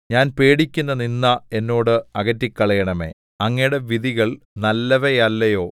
ഞാൻ പേടിക്കുന്ന നിന്ദ എന്നോട് അകറ്റിക്കളയണമേ അങ്ങയുടെ വിധികൾ നല്ലവയല്ലയോ